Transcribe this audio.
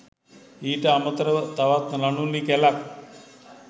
ඊට අමතරව තවත් නළු නිළී කැළක්